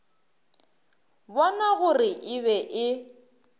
bona gore e be e